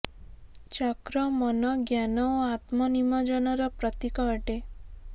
ଚକ୍ର ମନ ଜ୍ଞାନ ଓ ଆତ୍ମ ନିମଜ୍ଜନର ପ୍ରତୀକ ଅଟେ